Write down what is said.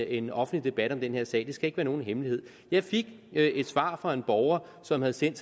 en offentlig debat om den her sag det skal ikke være nogen hemmelighed jeg fik et svar fra en borger som havde sendt